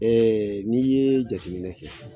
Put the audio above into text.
Ɛɛ n'i ye jateminɛ kɛ